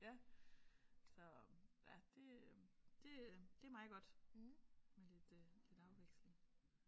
Ja så ja det det er det er meget godt med lidt afveksling